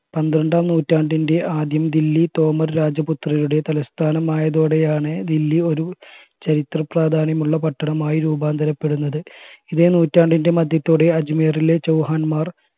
പന്ത്രണ്ടാം നൂറ്റാണ്ടിൻറെ ആദ്യം ദില്ലി തോമർ രാജപുത്രയുടെ തലസ്ഥാനാമായതോടെയാണ് ദില്ലി ഒരു ചരിതപ്രാധാന്യമുള്ള പട്ടണമായി രൂപാന്തരപ്പെടുന്നത് ഇതേ നൂറ്റാണ്ടിൻറെ മധ്യത്തോടെ അജ്മീറിലെ ചൗഹാൻമാർ